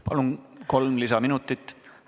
Palun, kolm lisaminutit!